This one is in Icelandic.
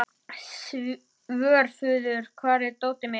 Svörfuður, hvar er dótið mitt?